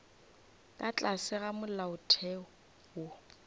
ka tlase ga molaotheo wo